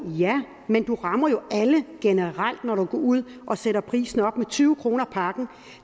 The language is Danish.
ja men du rammer jo alle generelt når du går ud og sætter prisen op med tyve kroner pakken